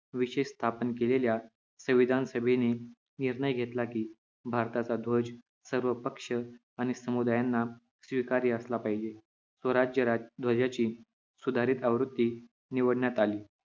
विशेष स्थापन केलेल्या संविधान सभेने निर्णय घेतला कि भारताचा ध्वज सर्व पक्ष आणि समुदायांना स्वीकार्य असला पाहिजे स्वराज्य ध्वजा ची सुधारित आवृत्ती निवडण्यात आली